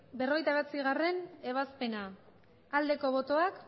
bederatzigarrena ebazpena aldeko botoak